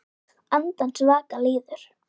Andans vaka líður.